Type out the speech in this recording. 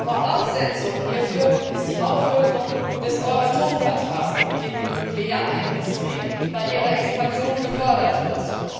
Voraussetzung hierfür ist die Auflösung des Euratom Vertrags, mit dem die Nuklearindustrie bei ihrer Expansion gefördert wird.